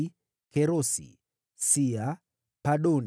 wazao wa Kerosi, Sia, Padoni,